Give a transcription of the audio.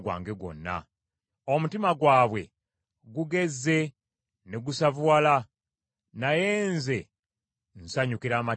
Omutima gwabwe gugezze ne gusavuwala; naye nze nsanyukira amateeka go.